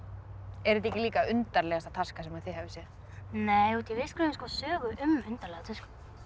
er þetta ekki líka undarlegasta taska sem þið hafið séð nei við skrifuðum sögu um undarlega tösku